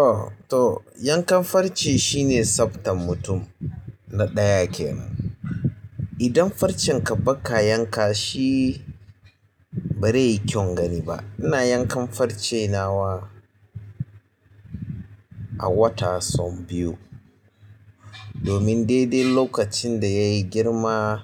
AH to yankan farce shine sabgar mutum na ɗaya kenan idan farcen ka baka yanka shi ba zai yi kyau gani ba. Ina yankan farce nawa a wata sau biyu. Domin dai-dai lokacin da yayi girma